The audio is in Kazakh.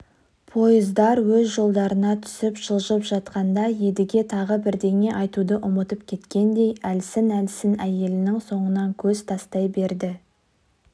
пойыздар өз жолдарына түсіп жылжып жатқанда едіге тағы бірдеңе айтуды ұмытып кеткендей әлсін-әлсін әйелінің соңынан көз тастай берді